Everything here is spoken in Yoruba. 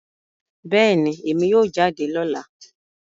Bẹẹni, Emi yoo jade lọla